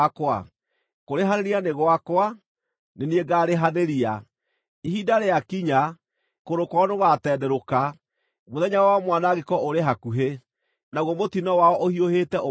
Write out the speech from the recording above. Kũrĩhanĩria nĩ gwakwa; nĩ niĩ ngaarĩhanĩria. Ihinda rĩakinya, kũgũrũ kwao nĩ gũgaatenderũka; mũthenya wao wa mwanangĩko ũrĩ hakuhĩ, naguo mũtino wao ũhiũhĩte ũmakore.”